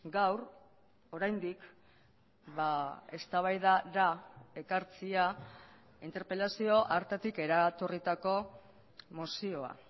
gaur oraindik eztabaidara ekartzea interpelazio hartatik eratorritako mozioa